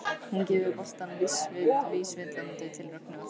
Hún gefur boltann vísvitandi til Rögnu aftur.